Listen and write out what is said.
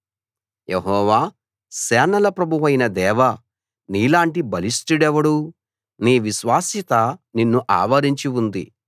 యెహోవా సేనల ప్రభువైన దేవా నీలాంటి బలిష్టుడెవడు నీ విశ్వాస్యత నిన్ను ఆవరించి ఉంది